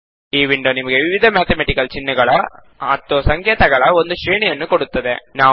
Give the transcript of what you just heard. ಈ ವಿಂಡೋ ನಮಗೆ ವಿವಿಧ ಮ್ಯಾತಮೆಟಿಕಲ್ ಚಿಹ್ನೆಗಳ ಮತ್ತು ಸಂಕೇತಗಳ ಒಂದು ಶ್ರೇಣಿಯನ್ನು ಕೊಡುತ್ತದೆ